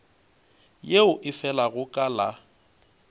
yeo e felago ka la